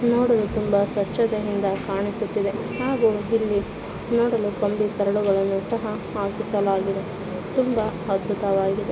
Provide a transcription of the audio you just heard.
ನೋಡಲು ತುಂಬಾ ಸ್ವಚ್ಛತೆಯಿಂದ ಕಾಣಿಸುತ್ತಿದೆ ಹಾಗೂ ಇಲ್ಲಿ ನೋಡಲು ಕಂಬಿ ಸರಳಗಳನ್ನು ಸಹ ಹಾಕಿಸಲಾಗಿದೆ ತುಂಬಾ ಅದ್ಭುತವಾಗಿದೆ.